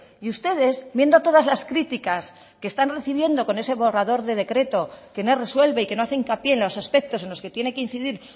y ustedes viendo todas las críticas que están recibiendo con ese borrador de decreto que no resuelve y que no hace hincapié en los aspectos en los que tiene que incidir